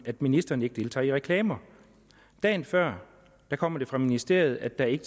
ministeren ikke deltager i reklamer og dagen før kom det fra ministeriet at der ikke